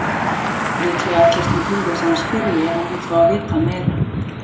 Líklega ætlast hún til þess að hann spyrji ef hann vill fá að vita meira.